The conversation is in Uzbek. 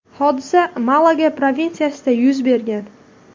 Hodisa Malaga provinsiyasida yuz bergan.